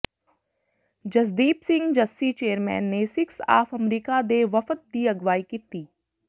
Jasdeep Singh Jassi chairman ਨੇ Sikhs of America ਦੇ ਵਫ਼ਦ ਦੀ ਅਗਵਾਈ ਕੀਤੀ